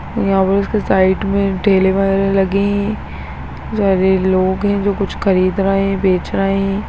ये ऑफिस के साइड में ठेले वाले लगें हैं गरीब लोग है जो कुछ खरीद रहें हैं बेच रहें हैं।